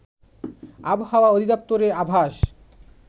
আবহাওয়া অধিদপ্তরের আভাস